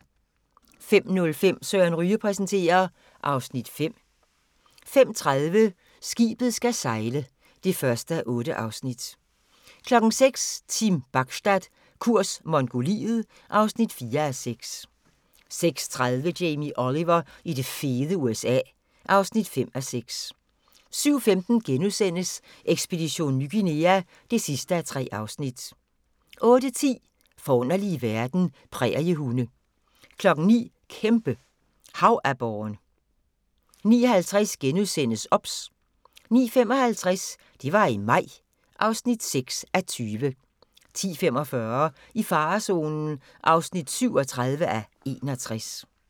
05:05: Søren Ryge præsenterer (Afs. 5) 05:30: Skibet skal sejle (1:8) 06:00: Team Bachstad – kurs Mongoliet (4:6) 06:30: Jamie Oliver i det fede USA (5:6) 07:15: Ekspedition Ny Guinea (3:3)* 08:10: Forunderlige verden - præriehunde 09:00: Kæmpe havaborren 09:50: OBS * 09:55: Det var i maj (6:20) 10:45: I farezonen (37:61)